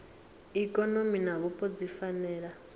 ikonomi na vhupo dzi fanela